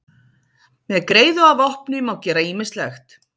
Með greiðu að vopni má gera ýmislegt!